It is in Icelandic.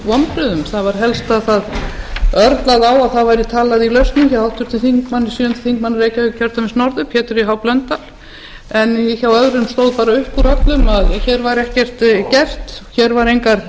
vonbrigðum það var helst að það örlaði á að það væri talað í lausnum hjá háttvirtum sjöundi þingmaður reykjavíkurkjördæmis norður pétri h blöndal en hjá öðrum stóð bara upp úr öllum að hér væri ekkert gert hér væru engar